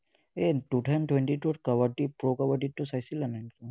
এৰ two thousand twenty-two ত kabaddi, pro kabaddi টো চাইছিলা নে নাই?